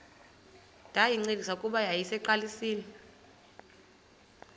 ndayincedisa kuba yayiseyiqalisile